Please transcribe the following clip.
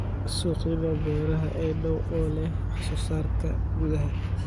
Suuqyada beeraha ee dhow oo leh wax soo saarka gudaha